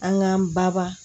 An ka baba